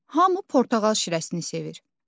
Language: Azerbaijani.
Hamı portağal şirəsini sevir.